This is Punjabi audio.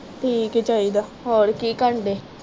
ਠੀਕ ਈ ਚਾਹੀਦਾ ਹੋਰ ਕੀ ਕਰਨ ਦੇ